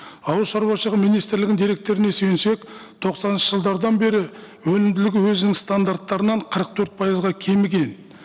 ауыл шаруашылығы министрлігінің деректеріне сүйенсек тоқсаныншы жылдардан бері өнімділік өзінің стандарттарынан қырық төрт пайызға кеміген